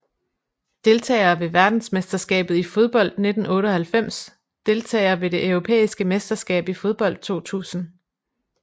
Deltagere ved verdensmesterskabet i fodbold 1998 Deltagere ved det europæiske mesterskab i fodbold 2000